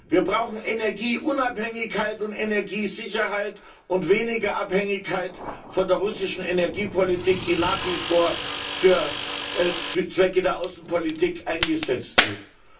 Wir brauchen Energieunabhängigkeit und Energiesicherheit und weniger Abhängigkeit von der russischen Energiepolitik, die nach wie vor für Zwecke der Außenpolitik eingesetzt wird.